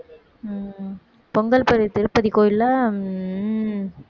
உம் பொங்கல் பதிவு திருப்பதி கோயில்ல உம்